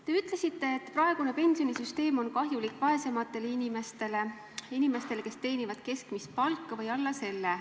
Te ütlesite, et praegune pensionisüsteem on kahjulik vaesematele inimestele – inimestele, kes teenivad keskmist palka või alla selle.